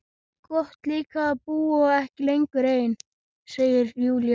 Gott líka að búa ekki lengur ein, segir Júlía.